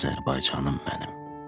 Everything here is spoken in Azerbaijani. Azərbaycanım mənim.